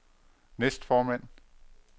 næstformand